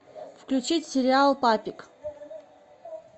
включить сериал папик